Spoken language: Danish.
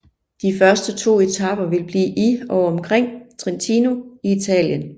De første to etaper vil blive i og omkring Trentino i Italien